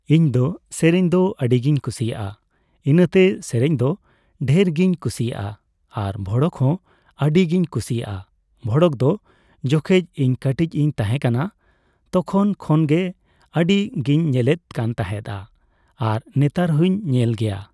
ᱤᱧᱫᱚ ᱥᱮᱨᱮᱧ ᱫᱚ ᱟᱹᱰᱤᱜᱤᱧ ᱠᱩᱥᱤᱭᱟᱜᱼᱟ ᱾ ᱤᱱᱟᱹᱛᱮ ᱥᱮᱨᱮᱧ ᱫᱚ ᱰᱷᱮᱨ ᱜᱤᱧ ᱠᱩᱥᱤᱭᱟᱜᱼᱟ ᱾ ᱟᱨ ᱵᱷᱚᱲᱚᱠ ᱦᱚᱸ ᱟᱹᱰᱤ ᱜᱤᱧ ᱠᱩᱥᱤᱭᱟᱜᱼᱟ ᱾ ᱵᱷᱚᱲᱚᱠ ᱫᱚ ᱡᱚᱠᱷᱚᱡ ᱤᱧ ᱠᱟᱹᱴᱤᱡ ᱤᱧ ᱛᱟᱦᱮᱸ ᱠᱟᱱᱟ ᱛᱚᱠᱷᱚᱱ ᱠᱷᱚᱱᱜᱮ ᱟᱹᱰᱤᱜᱮᱧ ᱧᱮᱞᱮᱫ ᱠᱟᱱ ᱛᱟᱦᱮᱫᱼᱟ ᱟᱨ ᱱᱮᱛᱟᱨ ᱦᱚᱸᱧ ᱧᱮᱞ ᱜᱮᱭᱟ ᱾